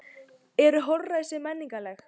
Eru holræsi menningarleg?